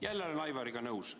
Jälle olen Aivariga nõus.